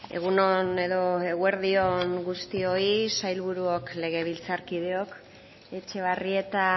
egun on edo eguerdi on guztioi sailburuok legebiltzarkideok etxebarrieta